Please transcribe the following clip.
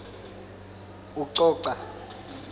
ucoca